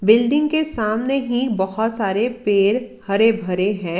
Building के सामने ही बहोत सारे पेड़ हरे भरे हैं।